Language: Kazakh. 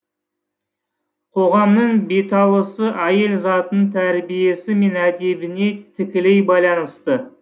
қоғамның беталысы әйел затының тәрбиесі мен әдебіне тікелей байланысты